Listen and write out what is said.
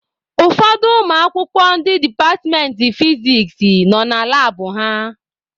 Ụfọdụ ụmụakwụkwọ ndị departmentị fiziks nọ na labụ ha.